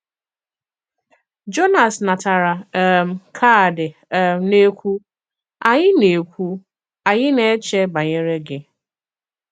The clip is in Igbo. Jònàs natàrà um kààdì um na-ekwu, “Ànyị̀ na-ekwu, “Ànyị̀ na-èchè bànyere gị.